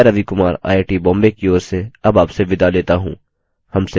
यह स्क्रिप्ट देवेन्द्र कैरवान द्वारा अनुवादित है मैं रवि कुमार आईआईटीबॉम्बे की ओर से आपसे विदा लेता हूँ